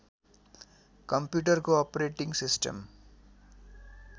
कम्प्युटरको operating system